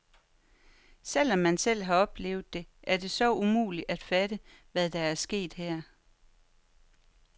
Selv om man selv har oplevet det, er det så umuligt at fatte, hvad der er sket her?